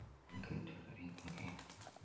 Og enginn er til fyrir eigin getnað.